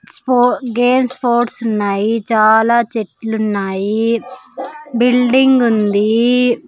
స్పో games sports ఉన్నాయి చాలా చెట్లు ఉన్నాయి బిల్డింగ్ ఉంది.